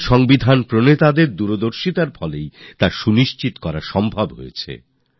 আর আমাদের সংবিধান রচয়িতাদের দূরদর্শিতা কারণেই এটা সুনিশ্চিত করা সম্ভব হয়েছে